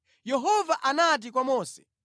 Yehova anati kwa Mose,